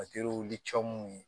ye